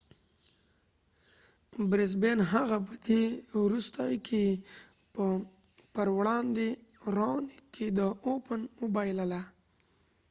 هغه په دې وروستیو کې په brisbane open کې د raonic پر وړاندې وبایلله